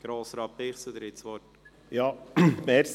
Grossrat Bichsel, Sie haben das Wort.